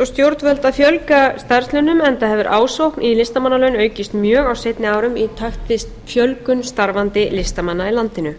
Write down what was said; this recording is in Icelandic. á stjórnvöld að fjölga starfslaunum enda hefur ásókn í listamannalaun aukist mjög á seinni árum í takt við fjölgun starfandi listamanna í landinu